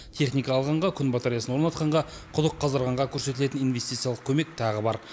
техника алғанға күн батареясын орнатқанға құдық қаздырғанға көрсетілетін инвестициялық көмек тағы бар